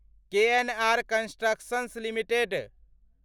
KNR Constructions limited